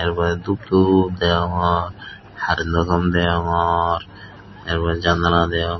er porey dup dup deyongor hareno thom deyongor er porey janala deyong.